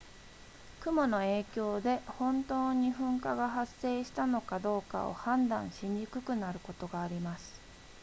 雲の影響で本当に噴火が発生したのかどうかを判断しにくくなることがあります